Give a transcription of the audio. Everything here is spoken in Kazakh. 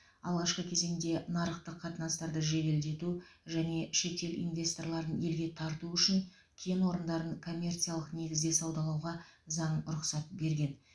алғашқы кезеңде нарықтық қатынастарды жеделдету және шетел инвесторларын елге тарту үшін кен орындарын коммерциялық негізде саудаулауға заң рұқсат берген